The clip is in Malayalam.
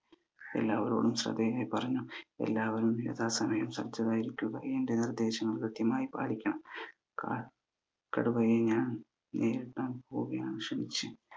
എല്ലാവരോടും ആദ്യേ പറഞ്ഞു എല്ലാവരും യഥാ സമയം സജ്ജരായിരിക്കുക എന്റെ നിർദേശങ്ങൾ കൃത്യമായി പാലിക്കണം ക കടുവയെ ഞ ഞാൻ നേരിടാൻ പോവുകയാണ്